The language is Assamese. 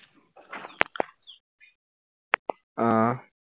আহ